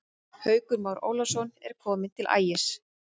Haukur Már Ólafsson er kominn til Ægis.